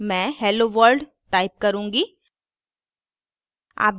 मैं hello world type करुँगी